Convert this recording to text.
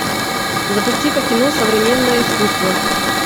запусти ка кино современное искусство